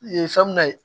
E fɛn mun na ye